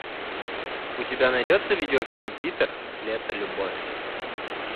у тебя найдется видеофильм питер лето любовь